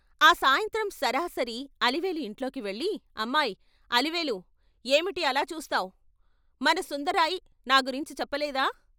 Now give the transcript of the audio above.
ఆ సాయంత్రం సరాసరి అలివేలు ఇంట్లోకి వెళ్ళి ' అమ్మాయ్ అలివేలూ, ఏమిటి అలా చూస్తావ్ ? మన సుందరాయ్ నా గురించి చెప్పలేదా....